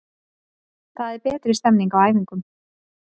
Það er betri stemming á æfingum.